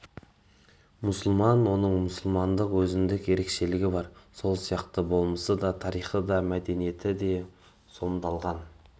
мұсылман оның мұсылмандық өзіндік ерекшелігі бар сол арқылы болмысы да тарихы да мәдениеті де сомдалған